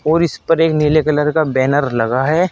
और इस पर एक नीले कलर का बैनर लगा है।